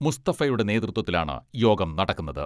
മുസ്തഫയുടെ നേതൃത്വത്തിലാണ് യോഗം നടക്കുന്നത്.